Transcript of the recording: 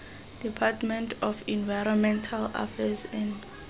department of environmental affairs and